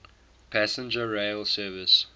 passenger rail service